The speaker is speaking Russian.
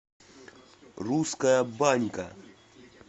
русская банька